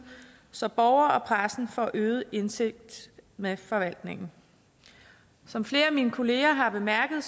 så og pressen får øget indsigt med forvaltningen som flere af mine kolleger har bemærket